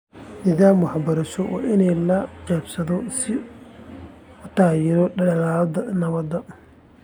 Nidaamka waxbarashada waa inuu la qabsado si uu u taageero dadaallada nabadda.